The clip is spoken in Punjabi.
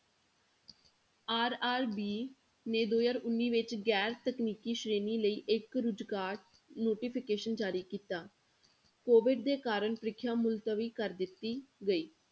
RRB ਨੇ ਦੋ ਹਜ਼ਾਰ ਉੱਨੀ ਵਿੱਚ ਗੈਰ ਤਕਨੀਕੀ ਸ਼੍ਰੇਣੀ ਲਈ ਇੱਕ ਰੁਜ਼ਗਾਰ notification ਜਾਰੀ ਕੀਤਾ COVID ਦੇ ਕਾਰਨ ਪ੍ਰੀਖਿਆ ਮੁਲਤਵੀ ਕਰ ਦਿੱਤੀ ਗਈ।